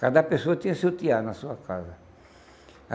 Cada pessoa tinha seu tear na sua casa.